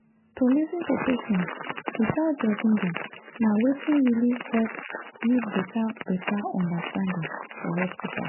to lis ten to patients without judging dem na wetin really help build better better understanding for hospital.